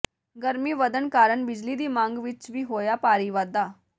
ਗਰਮੀ ਵਧਣ ਕਾਰਨ ਬਿਜਲੀ ਦੀ ਮੰਗ ਵਿਚ ਵੀ ਹੋਇਆ ਭਾਰੀ ਵਾਧਾ